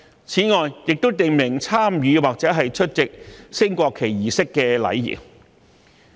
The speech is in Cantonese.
此外，《條例草案》亦訂明參與或出席升國旗儀式的禮儀。